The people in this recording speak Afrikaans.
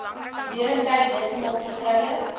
deurentyd heeltemal vertroulik